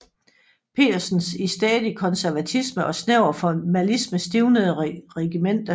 Petersens i stædig konservatisme og snæver formalisme stivnede regimente